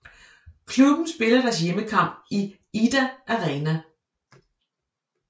Klubben spiller deres hjemmekamp i Idda Arena